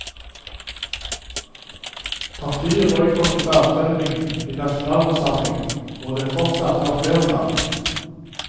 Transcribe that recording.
Partiet boikottet avstemmingen i nasjonalforsamlingen, hvor det fortsatt har flertall.